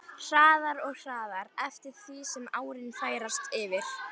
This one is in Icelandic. Hraðar og hraðar eftir því sem árin færast yfir.